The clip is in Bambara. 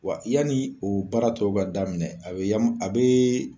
Wa yanni o baaratɔ k'a daminɛ a be ya a bee